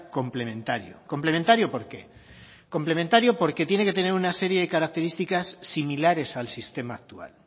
complementario complementario por qué complementario porque tiene que tener una serie de características similares al sistema actual